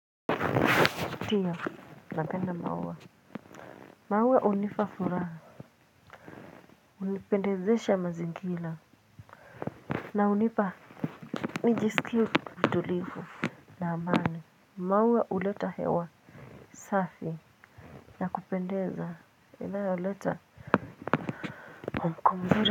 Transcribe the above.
Tia, napenda maua. Maua hunipa furaha. Hunipendezesha mazingira. Na hunipa nijisikie. Utulivu na amani. Maua huleta hewa safi. Ya kupendeza inayoleta mwamko mzuri.